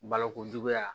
Balokojuguya